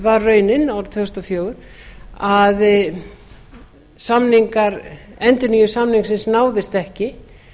var raunin árið tvö þúsund og fjögur að endurnýjun samningsins náðist ekki